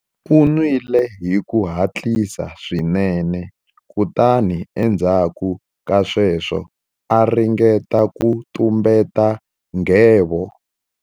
U nwile hi ku hatlisa swinene kutani endzhaku ka sweswo a ringeta ku tumbeta nghevo.